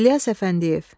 İlyas Əfəndiyev.